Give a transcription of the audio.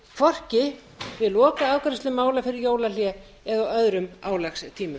hvorki við lokaafgreiðslu mála fyrir jólahlé né á öðrum álagstímum